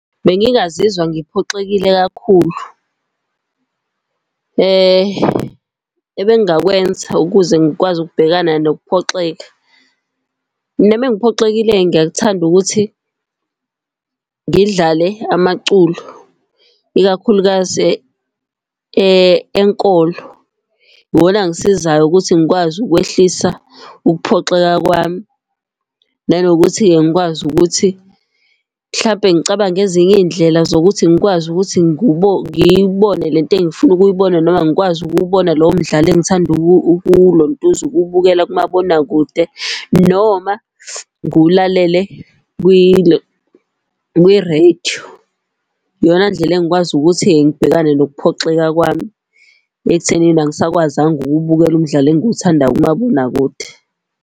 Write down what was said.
Bengingazizwa ngiphoxekile kakhulu. Ebengingakwenza ukuze ngikwazi ukubhekana nokuphoxeka, mina uma ngiphoxekile ngiyakuthanda ukuthi ngidlale amaculo, ikakhulukazi enkolo. Iwona angisizayo ukuthi ngikwazi ukwehlisa ukuphoxeka kwami. Nanokuthi-ke ngikwazi ukuthi, mhlampe ngicabange ezinye iy'ndlela zokuthi ngikwazi ukuthi ngiyibone lento engifuna ukuyibona noma ngikwazi ukubona lowo mdlalo engithanda ukuwulontuza ukuwubukela kumabonakude noma ngulalele kwirediyo. Iyona ndlela engikwazi ukuthi-ke ngibhekane nokuphoxeka kwami ekuthenini angisakwazanga ukuwubukela umdlalo engiwuthanda kumabonakude.